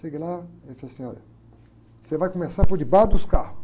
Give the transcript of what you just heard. Cheguei lá e ele falou assim, olha, você vai começar por debaixo dos carros.